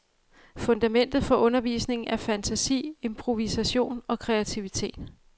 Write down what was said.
Fundamentet for undervisningen er fantasi, improvisation og kreativitet.